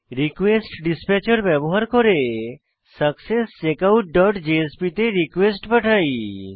রিকোয়েস্টডিসপ্যাচের ব্যবহার করে successcheckoutজেএসপি তে রিকোয়েস্ট পাঠাই